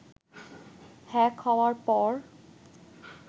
hack হওয়ার পর